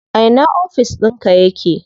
A ina ofis ɗinka yake?